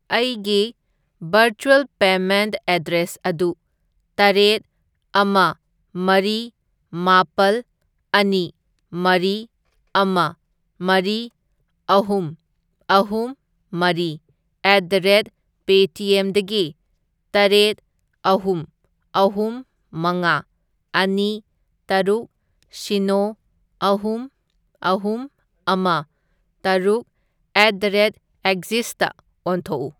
ꯑꯩꯒꯤ virtual payment address ꯑꯗꯨ ꯇꯔꯦꯠ, ꯑꯃ, ꯃꯔꯤ, ꯃꯥꯄꯜ, ꯑꯅꯤ, ꯃꯔꯤ, ꯑꯃ, ꯃꯔꯤ, ꯑꯍꯨꯝ, ꯑꯍꯨꯝ, ꯃꯔꯤ, ꯑꯦꯠ ꯗ ꯔꯦꯠ ꯄꯦꯇꯤꯑꯦꯝꯗꯒꯤ ꯇꯔꯦꯠ, ꯑꯍꯨꯝ, ꯑꯍꯨꯝ, ꯃꯉꯥ, ꯑꯅꯤ, ꯇꯔꯨꯛ, ꯁꯤꯅꯣ, ꯑꯍꯨꯝ, ꯑꯍꯨꯝ, ꯑꯃ, ꯇꯔꯨꯛ, ꯑꯦꯠ ꯗ ꯔꯦꯠ ꯑꯦꯛꯖꯤꯁꯗ ꯑꯣꯟꯊꯣꯛꯎ꯫